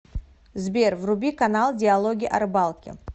сбер вруби канал диалоги о рыбалке